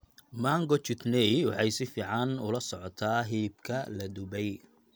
Mango chutney waxay si fiican ula socotaa hilibka la dubay.